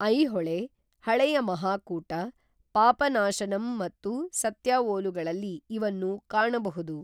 ಐಹೊಳೆ, ಹಳೆಯ ಮಹಾಕೂಟ, ಪಾಪನಾಶನಂ ಮತ್ತು ಸತ್ಯಾವೋಲುಗಳಲ್ಲಿ ಇವನ್ನು ಕಾಣಬಹುದು.